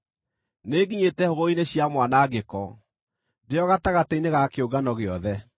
Nĩnginyĩte hũgũrũrũ-inĩ cia mwanangĩko, ndĩ o gatagatĩ-inĩ ga kĩũngano gĩothe.”